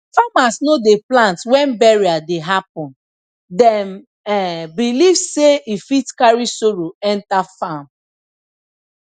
farmers no dey plant when burial dey happen dem um believe sey e fit carry sorrow enter farm